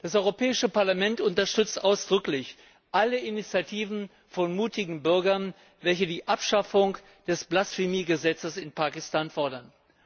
Das Europäische Parlament unterstützt ausdrücklich alle Initiativen von mutigen Bürgern, welche die Abschaffung des Blasphemiegesetzes in Pakistan fordern.